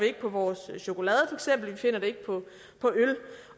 ikke på vores chokolade vi finder det ikke på øl